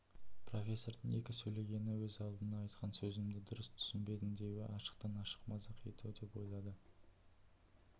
профессордың екі сөйлегені өз алдына айтқан сөзімді дұрыс түсінбедің деуі ашықтан ашық мазақ ету деп ойлады